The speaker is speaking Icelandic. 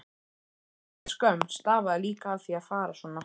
Hálfgerð skömm stafaði líka af því að fara svona.